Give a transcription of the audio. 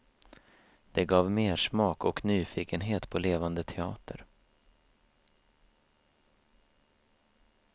Det gav mersmak och nyfikenhet på levande teater.